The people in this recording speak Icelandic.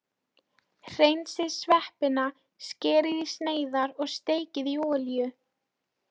Hreinsið sveppina, skerið í sneiðar og steikið í olíu.